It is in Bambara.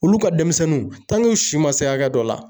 Olu ka denmisɛnninw u si ma se hakɛ dɔ la